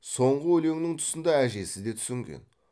соңғы өлеңнің тұсында әжесі де түсінген